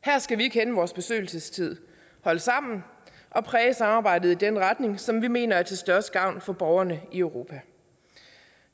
her skal vi kende vores besøgelsestid holde sammen og præge samarbejdet i den retning som vi mener er til størst gavn for borgerne i europa